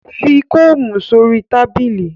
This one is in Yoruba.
Fi koomu sori tabili